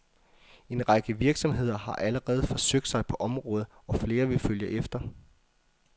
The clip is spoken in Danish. En række virksomheder har allerede forsøgt sig på området, og flere vil følge efter.